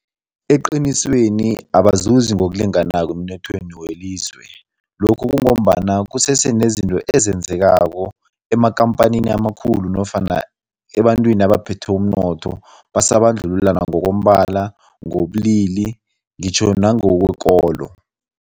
Eqinisweni, abazuzi ngokulinganako emnothweni welizwe. Lokhu kungombana kusese nezinto ezenzekako amakhamphani amakhulu nofana ebantwini abaphethe umnotho, basabandlululana ngokombala, ngokobulili ngitjho nangokwekolo.